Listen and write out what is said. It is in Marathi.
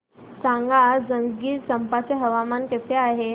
सांगा आज जंजगिरचंपा चे हवामान कसे आहे